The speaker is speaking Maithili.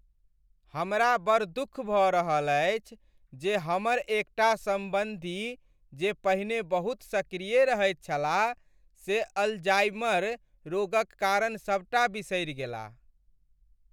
हमरा बड़ दुख भऽ रहल अछि जे हमर एकटा सम्बन्धी जे पहिने बहुत सक्रिय रहैत छलाह से अल्जाइमर रोगक कारण सबटा बिसरि गेलाह।